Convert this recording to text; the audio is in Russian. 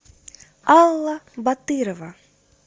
алла батырова